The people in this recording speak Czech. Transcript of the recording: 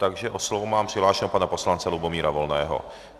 Takže o slovo mám přihlášeného pana poslance Lubomíra Volného.